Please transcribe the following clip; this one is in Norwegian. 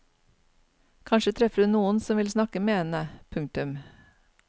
Kanskje treffer hun noen som vil snakke med henne. punktum